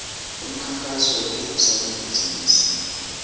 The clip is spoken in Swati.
umkhankaso wekuvula emabhizimisi